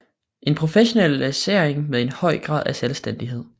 En professionalisering med en høj grad af selvstændighed